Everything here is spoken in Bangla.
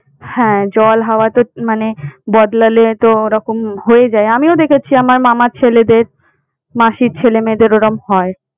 হ্যাঁ জল হাওয়া তো মানে বদলালে তো ওরকম হয়ে যায়। আমিও দেখেছি আমার মামার ছেলেদের, মাসির ছেলে মেয়েদের ওইরম হয়।